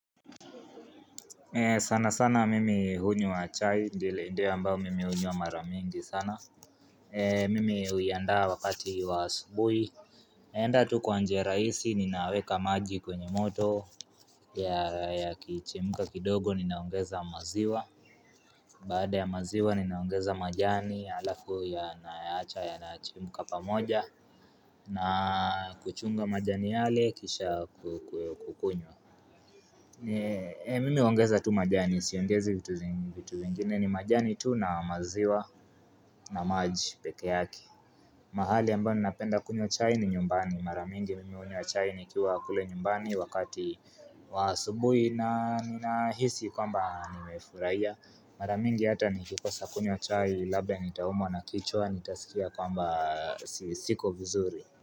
Sana sana mimi hunywa chai, ndile ndia mbao mimi huni wa maramingi sana. Mimi hu iandaa wakati wa subuhi. Naenda tu kwa nje raisi, ninaweka maji kwenye moto, yakichemka kidogo, ninaongeza maziwa. Baada ya maziwa, ninaongeza majani, alafu ya naacha ya naachimuka pamoja, na kuchunga majani yale, kisha kukunywa. Mimi huongeza tu majani, siongezi vitu vingine ni majani tu na maziwa na maji peke yake mahali ambapo napenda kunyo chai ni nyumbani, maramingi mimi uniwa chai nikiwa kule nyumbani wakati wa asubuhi na ninahisi kwamba nimefurahia Mara mingi hata nikikosa kunywa chai labda nitaumwa na kichwa nitasikia kwamba siko vizuri.